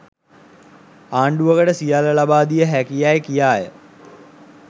ආණ්ඩුවකට සියල්ල ලබා දිය හැකි යැයි කියාය.